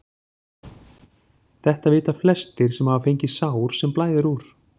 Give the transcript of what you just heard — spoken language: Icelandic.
Þetta vita flestir sem hafa fengið sár sem blæðir úr.